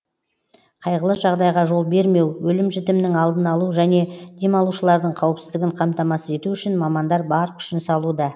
қайғылы жағдайға жол бермеу өлім жітімнің алдын алу және демалушылардың қауіпсіздігін қамтамасыз ету үшін мамандар бар күшін салуда